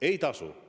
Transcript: Ei tasu!